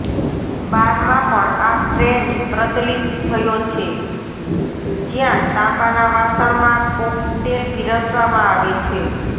બારમાં પણ આ ટ્રેંડ પ્રચલિત થયો છે જ્યાં તાંબાના વાસણમાં કોકટેલ પીરસવામાં આવે છે